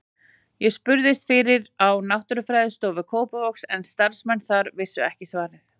Ég spurðist fyrir á Náttúrufræðistofu Kópavogs en starfsmenn þar vissu ekki svarið.